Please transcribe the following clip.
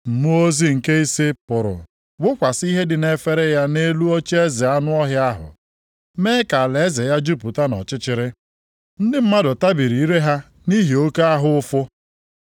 Mmụọ ozi nke ise pụrụ wụkwasị ihe dị nʼefere nke ya nʼelu ocheeze anụ ọhịa ahụ, mee ka alaeze ya jupụta nʼọchịchịrị. Ndị mmadụ tabiri ire ha nʼihi oke ahụ ụfụ.